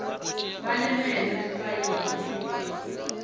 ba le meno difaene le